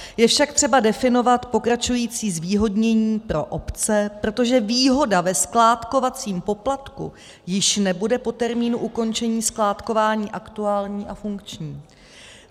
Je však třeba definovat pokračující zvýhodnění pro obce, protože výhoda ve skládkovacím poplatku již nebude po termínu ukončení skládkování aktuální a funkční.